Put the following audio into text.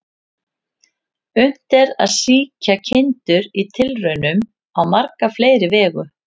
Unnt er að sýkja kindur í tilraunum á marga fleiri vegu.